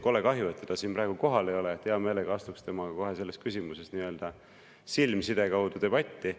Kole kahju, et teda siin praegu kohal ei ole, hea meelega astuks temaga selles küsimuses nii-öelda silmside kaudu debatti.